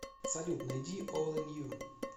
салют найди олл ин ю